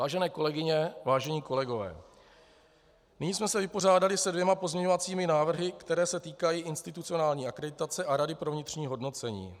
Vážené kolegyně, vážení kolegové, nyní jsme se vypořádali se dvěma pozměňovacími návrhy, které se týkají institucionální akreditace a rady pro vnitřní hodnocení.